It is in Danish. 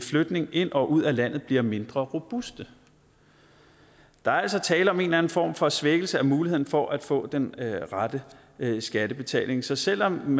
flytning ind og ud af landet bliver mindre robuste der er altså tale om en eller anden form for svækkelse af muligheden for at få den rette skattebetaling så selv om